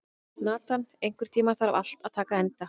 Nathan, einhvern tímann þarf allt að taka enda.